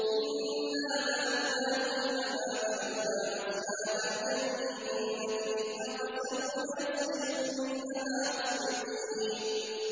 إِنَّا بَلَوْنَاهُمْ كَمَا بَلَوْنَا أَصْحَابَ الْجَنَّةِ إِذْ أَقْسَمُوا لَيَصْرِمُنَّهَا مُصْبِحِينَ